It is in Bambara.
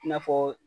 I n'a fɔ